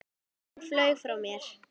Tíminn flaug frá mér.